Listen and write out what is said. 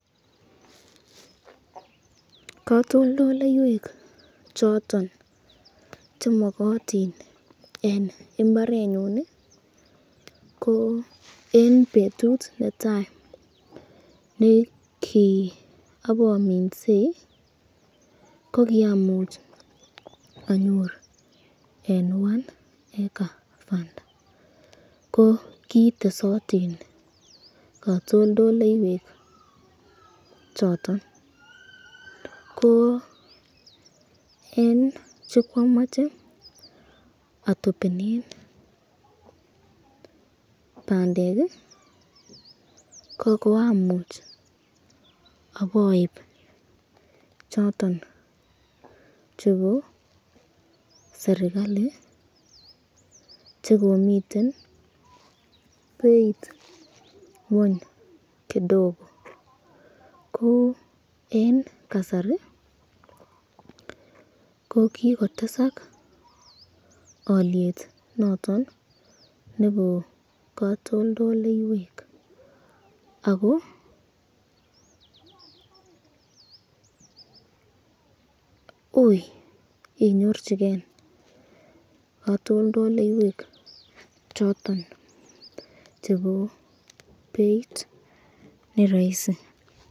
Katoltoleiwek choton chemokotin eng imbarenyun ko eng betut netai ne ki apaminsei ko kiamuch anyor en one hecter fund ko kiitesot katoltoleiwek choton ko en chekwomoche atopenen bandek ko kiamuch aboip choton chepo serikali chekomiten beit ng'weny kidogo ko en kasari ko kikotesak oliet noton nebo katoltoleiwek ako ui inyorchike katoltoleiwek choton chebo beit ne raisi.